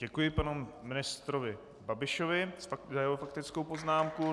Děkuji panu ministrovi Babišovi za jeho faktickou poznámku.